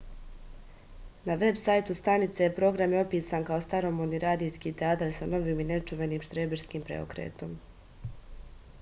na veb sajtu stanice program je opisan kao staromodni radijski teatar sa novim i nečuvenim štreberskim preokretom